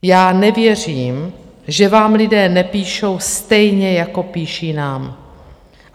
Já nevěřím, že vám lidé nepíšou stejně, jako píšou nám.